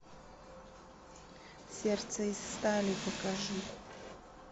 сердце из стали покажи